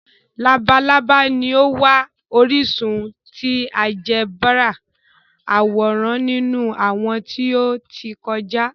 Labalaba ni o wa orisun ti áljẹbrà aworan ninu awọn ti o ti kọja.